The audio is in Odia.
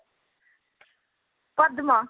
ପଦ୍ମ